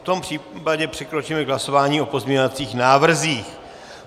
V tom případě přikročíme k hlasování o pozměňovacích návrzích.